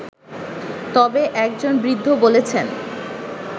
তবে একজন বৃদ্ধ বলছেন